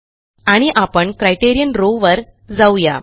आणि आपण criterion row वर जाऊ या